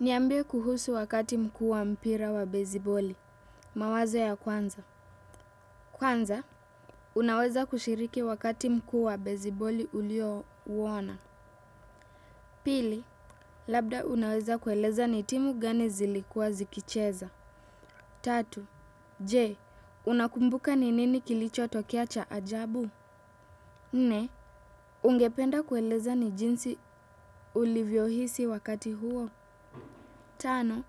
Niambie kuhusu wakati mkuu wa mpira wa beziboli, mawazo ya kwanza. Kwanza, unaweza kushiriki wakati mku wa beziboli ulio uona. Pili, labda unaweza kuelezea ni timu gani zilikuwa zikicheza. Tatu, jee, unakumbuka ni nini kilicho tokea cha ajabu? Nne, ungependa kuelezea ni jinsi ulivyo hisi wakati huo. Tano,